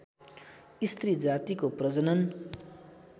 स्त्री जातिको प्रजनन